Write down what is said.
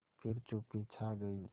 फिर चुप्पी छा गई